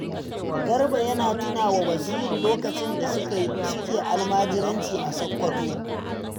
Garba ya tuna wa Basiru lokacin da suke almajiranci a Sakkwato